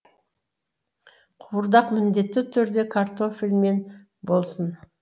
қуырдақ міндетті түрде картофельмен болсын